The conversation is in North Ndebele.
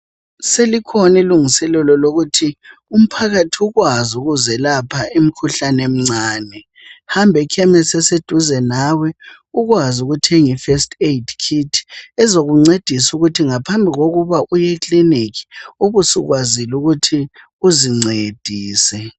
Solukhona ulungiselelo lokuthi umphakathi ukwazi ukuzelapha imkhuhlane emincane. Hamba ekhemisi eseduze nawe ukwazi ukuthenga eFirst Aid Kit ezokuncedisa ukuthi ngaphambi kokuba uye ekilinika ubusukwazile ukuthi uzincedise.